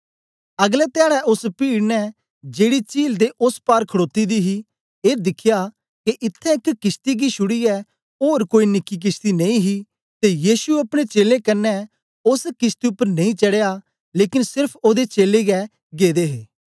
अगलै धयाड़ै ओस पीड़ ने जेड़ी चील दे ओस पार खड़ोती दी ही ऐ दिखया के इत्त्थैं एक किशती गी छुड़ीयै ओर कोई निकी किशती नेई ही ते यीशु अपने चेलें कन्ने ओस किशती उपर नेई चडया लेकन सेरफ ओदे चेलें गै गेदे हे